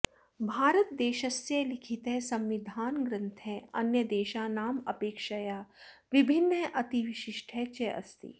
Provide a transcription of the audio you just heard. भारतदेशस्य लिखितः संविधानग्रन्थः अन्यदेशानाम् अपेक्षया विभिन्नः अतिविशिष्टः चास्ति